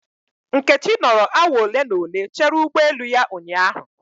Nkechi nọrọ awa ole na ole chere ụgbọ elu ya ụnyahụ